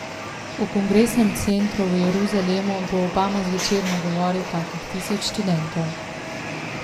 V kongresnem centru v Jeruzalemu bo Obama zvečer nagovoril kakih tisoč študentov.